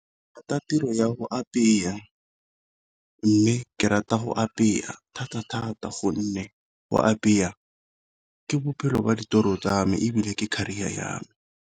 Ke rata tiro ya go apeya, mme ke rata go apeya thata thata gonne go apeya ka bophelo ba ditiro tsa me ebile ke career ya me.